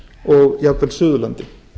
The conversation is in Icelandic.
og jafnvel suðurlandi